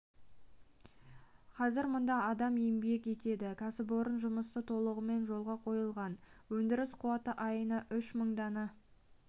қазір мұнда адам еңбек етеді кәсіпорын жұмысы толығымен жолға қойылған өндіріс қуаты айына үш мың дана